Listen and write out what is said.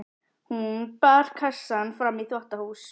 Hún bar kassann fram í þvottahús.